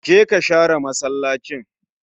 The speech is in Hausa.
Jeka share masallacin